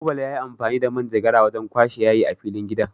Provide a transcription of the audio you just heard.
Kawu Bala yayi amfani da manjagara wajen kwashe yayin a filin gidan.